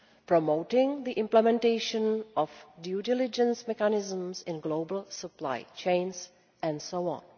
promoting the implementation of due diligence mechanisms in global supply chains, and so on.